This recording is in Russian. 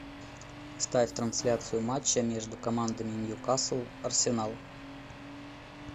ставь трансляцию матча между командами ньюкасл арсенал